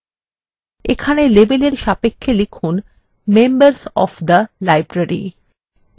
এখানে label সাপেক্ষে লিখুনmembers of the library